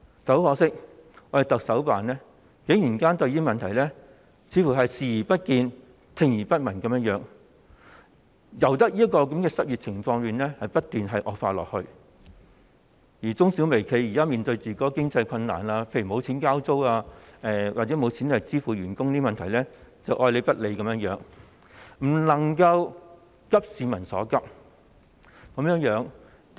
但很可惜，特首辦似乎對這個問題，是視而不見、聽而不聞，任由失業情況不斷惡化，而對中小微企現時面對的經濟困難，例如無錢交租或無錢向員工支薪等問題，愛理不理，不能夠急市民所急。